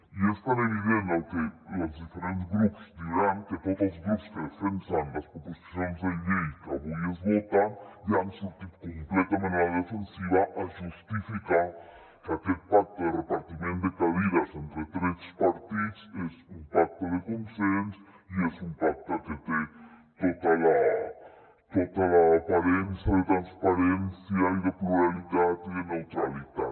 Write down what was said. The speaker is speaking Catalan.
i és tan evident el que els diferents grups diran que tots els grups que defensen les proposicions de llei que avui es voten ja han sortit completament a la defensiva a justificar que aquest pacte de repartiment de cadires entre tres partits és un pacte de consens i és un pacte que té tota l’aparença de transparència i de pluralitat i de neutralitat